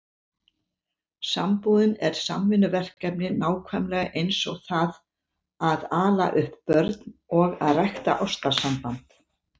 Sambúðin er samvinnuverkefni, nákvæmlega eins og það að ala upp börn og að rækta ástarsamband.